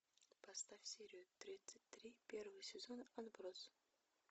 поставь серию тридцать три первый сезон отбросы